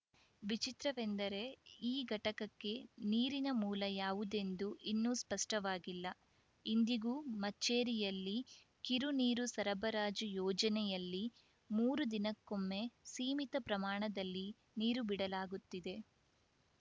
ವಿಚಿತ್ರವೆಂದರೆ ಈ ಘಟಕಕ್ಕೆ ನೀರಿನ ಮೂಲ ಯಾವುದೆಂದು ಇನ್ನೂ ಸ್ಪಷ್ಟವಾಗಿಲ್ಲ ಇಂದಿಗೂ ಮಚ್ಚೇರಿಯಲ್ಲಿ ಕಿರು ನೀರು ಸರಬರಾಜು ಯೋಜನೆಯಲ್ಲಿ ಮೂರು ದಿನಕ್ಕೊಮ್ಮೆ ಸೀಮಿತ ಪ್ರಮಾಣದಲ್ಲಿ ನೀರು ಬಿಡಲಾಗುತ್ತಿದೆ